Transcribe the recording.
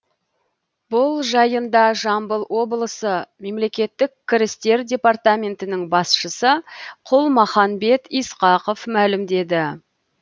бұл жайында жамбыл облысы мемлекеттік кірістер департаментінің басшысы құлмаханбет исақов мәлімдеді